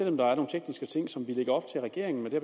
om der er nogle tekniske ting som vi lægger op til at regeringen med det